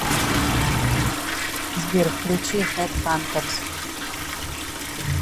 сбер включи хэдхантерз